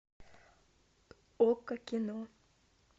окко кино